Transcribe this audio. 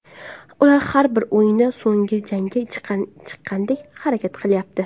Ular har bir o‘yinda so‘nggi jangga chiqqandek harakat qilyapti.